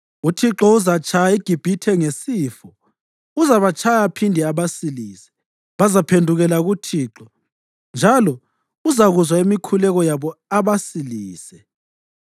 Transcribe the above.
UThixo uzatshaya iGibhithe ngesifo; uzabatshaya aphinde abasilise. Bazaphendukela kuThixo, njalo uzakuzwa imikhuleko yabo abasilise.